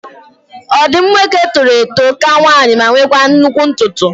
Ọdụm nwoke toro eto ka nwanyị ma nwekwa nnụkwụ ntutu